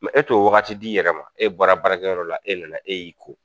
e t'o wagati di i yɛrɛ ma, e bɔra baarakɛyɔrɔ la, e nana e y'i ko